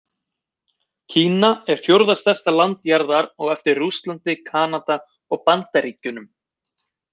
Kína er fjórða stærsta land jarðar á eftir Rússlandi, Kanada og Bandaríkjunum.